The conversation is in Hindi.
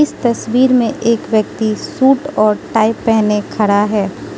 तस्वीर में एक व्यक्ति सूट और टाइ पहने खड़ा है।